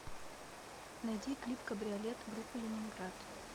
найди клип кабриолет группы ленинград